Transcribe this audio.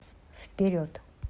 вперед